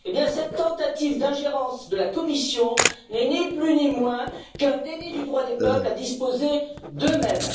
Cette tentative d'ingérence de la Commission n'est, ni plus ni moins, qu'un déni du droit des peuples à disposer d'eux mêmes.